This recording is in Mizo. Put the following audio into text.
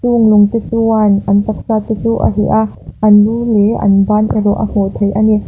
chung lung te chuan an taksa te chu a hliah a an lu leh an ban erawh a hmuh theih ani.